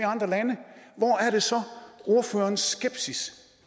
andre lande hvor er det så ordførerens skepsis